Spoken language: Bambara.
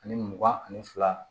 Ani mugan ani fila